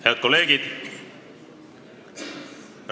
Head kolleegid!